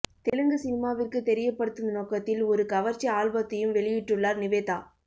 தெலுங்கு சினிமாவிற்கு தெரியப்படுத்தும் நோக்கத்தில் ஒரு கவர்ச்சி ஆல்பத்தையும் வெளியிட்டுள்ளார் நிவேதா